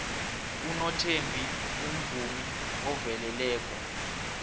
unothembi umvumi oveleleko